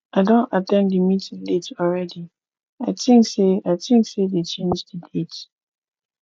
i don at ten d the meeting late already i think say i think say dey change the date